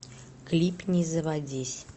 клип не заводись